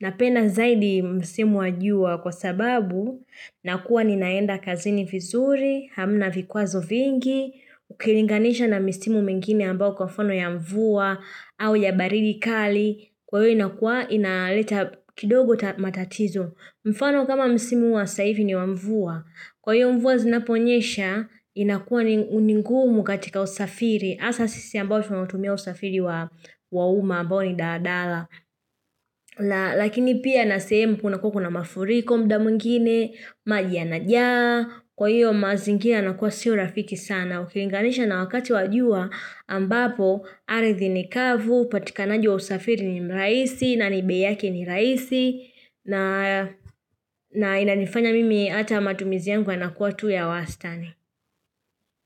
napenda zaidi msimu wa jua kwa sababu na kuwa ninaenda kazini vizuri, hamna vikwazo vingi, ukilinganisha na misimu mengine ambao kwa mfano ya mvua au ya baridi kali, kwa hiyo inakua inaleta kidogo matatizo. Mfano kama msimu wa saa hivi ni wa mvua. Kwa hiyo mvua zinaponyesha, inakuwa ni ngumu katika usafiri. Asa sisi ambao tunautumia usafiri wa uma ambao ni daadala. Lakini pia nasehemu kuna kuwa kuna mafuriko mda mwingine, maj yana njaa, kwa hiyo mazingira yana kuwa siho rafiki sana. Na ukilinganisha na wakati wa jua ambapo aridhi ni kavu, patikanaji wa usafiri ni mrahisi na ni bei yake ni rahisi na inanifanya mimi ata matumizi yangu yanakuwa tu ya wastani.